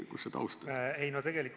Kus see taust on?